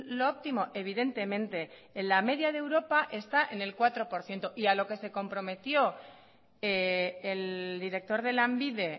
lo óptimo evidentemente en la media de europa está en el cuatro por ciento y a lo que se comprometió el director de lanbide